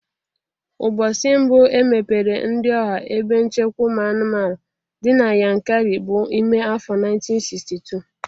Ụbọsi mbụ emepere ndị ọha ebe nchekwa ụmụ anụmanụ dị na Yankari bụ ime afọ 1962